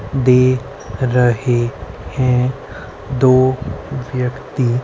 दे रहे हैं दो व्यक्ति --